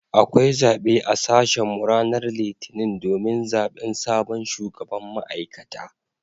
Akwai zabe a sashen mu ranar litinin domin zaben sabon shugaban ma’aikata.